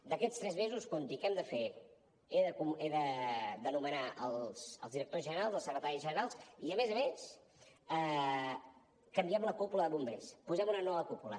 d’aquests tres mesos compti què hem de fer he de nomenar els directors generals els secretaris generals i a més a més canviem la cúpula de bombers posem una nova cúpula